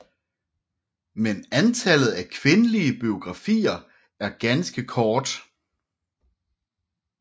Men antallet af kvindelige biografier er ganske kort